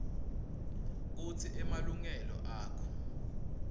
kutsi emalungelo akho